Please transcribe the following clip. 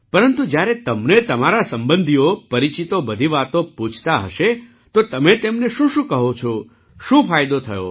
પરંતુ જ્યારે તમને તમારા સંબંધીઓ પરિચિતો બધી વાતો પૂછતા હશે તો તમે તેમને શુંશું કહો છો શું ફાયદો થયો